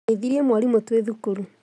Ngeithirie mwarimũtwĩ thukuru